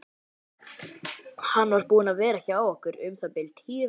Hann var búinn að vera hjá okkur um það bil tíu vikur.